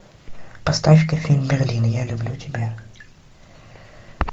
поставь ка фильм берлин я люблю тебя